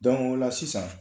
Donku ola sisan